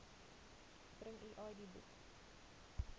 bring u idboek